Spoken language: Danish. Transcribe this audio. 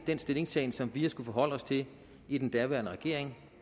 den stillingtagen som vi har skullet forholde os til i den daværende regering